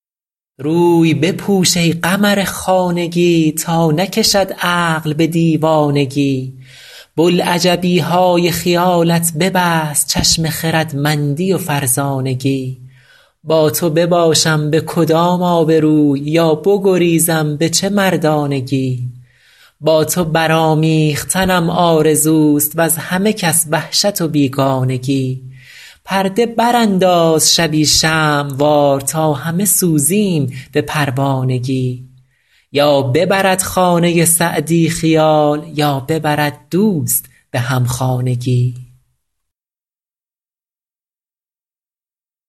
روی بپوش ای قمر خانگی تا نکشد عقل به دیوانگی بلعجبی های خیالت ببست چشم خردمندی و فرزانگی با تو بباشم به کدام آبروی یا بگریزم به چه مردانگی با تو برآمیختنم آرزوست وز همه کس وحشت و بیگانگی پرده برانداز شبی شمع وار تا همه سوزیم به پروانگی یا ببرد خانه سعدی خیال یا ببرد دوست به همخانگی